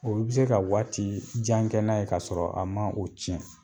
Olu bi se ka waati jan kɛ n'a ye k'a sɔrɔ a man o cɛn